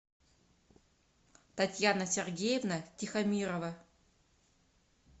татьяна сергеевна тихомирова